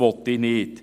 Das will ich nicht.